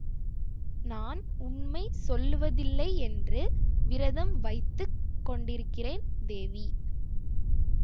நான் உண்மை சொல்லுவதில்லையென்று விரதம் வைத்து கொண்டிருக்கிறேன் தேவி